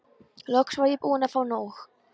Loks var ég búin að fá nóg.